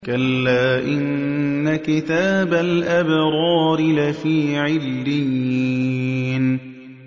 كَلَّا إِنَّ كِتَابَ الْأَبْرَارِ لَفِي عِلِّيِّينَ